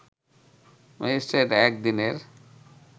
magistrate এক দিনের